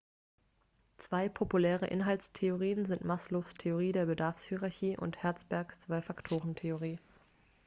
zwei populäre inhaltstheorien sind maslows theorie der bedarfshierarchie und hertzbergs zwei-faktoren-theorie